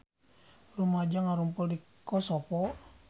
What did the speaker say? Rumaja ngarumpul di Kosovo